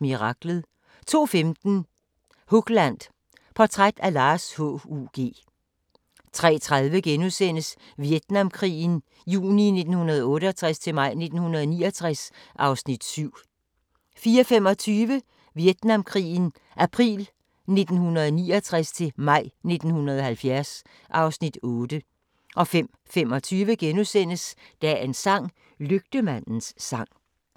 Miraklet * 02:15: Hugland – Portræt af Lars H.U.G. 03:30: Vietnamkrigen juni 1968-maj 1969 (Afs. 7)* 04:25: Vietnamkrigen april 1969-maj 1970 (Afs. 8) 05:25: Dagens sang: Lygtemandens sang *